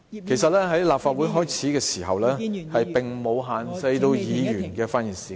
其實，立法會最初並沒有限制議員的發言時間......